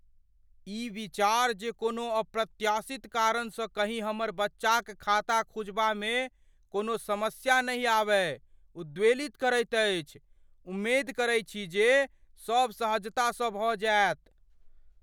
ई विचार जे कोनो अप्रत्याशित कारणसँ कहीं हमर बच्चाक खाता खुजबामे कोनो समस्या नहि आबय ,उद्वेलित करैतअछि । उमेद करै छी जे सब सहजता स भऽ जायत।